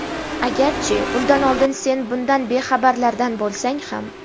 Agarchi undan oldin sen bundan bexabarlardan bo‘lsang ham.